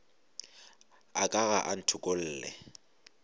a ka ga a ntokolle